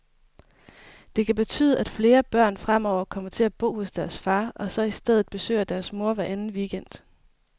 Det kan betyde, at flere børn fremover kommer til at bo hos deres far, og så i stedet besøger deres mor hver anden weekend.